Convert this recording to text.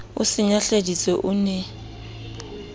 o se nyahladitse o ne